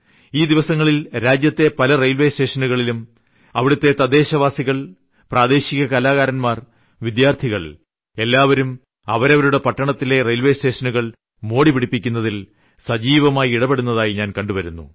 ഈ ദിവസങ്ങളിൽ രാജ്യത്തെ പല റെയിൽവേസ്റ്റേഷനുകളിലും അവിടത്തെ തദ്ദേശവാസികൾ പ്രാദേശിക കലാകാരന്മാർ വിദ്യാർത്ഥികൾ എല്ലാവരും അവരവരുടെ പട്ടണത്തിലെ റെയിൽവേ സ്റ്റേഷനുകൾ മോടിപിടിപ്പിക്കുന്നതിൽ സജീവമായി ഇടപെടുന്നതായി ഞാൻ കണ്ടുവരുന്നു